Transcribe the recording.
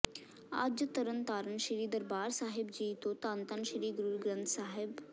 ਅੱਜ ਤਰਨ ਤਾਰਨ ਸ਼੍ਰੀ ਦਰਬਾਰ ਸਾਹਿਬ ਜੀ ਤੋ ਧੰਨ ਧੰਨ ਸ਼੍ਰੀ ਗੁਰੂ ਗ੍ਰੰਥ ਸਾਹਿਬ